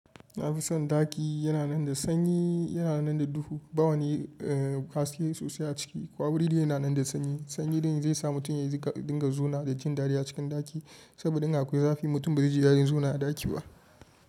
Nafi son ɗaki yana nan da sanyi, yana nan da duhu. Bawa ni haske sosai a ciki. Ko wuri da yana nan da sanyi sanyi dai zai sa mutum ya dinga zauna da jin dadi a cikin ɗaki. Saboda in akwai zafi, mutum ba zai ji dadin zama a ɗaki ba.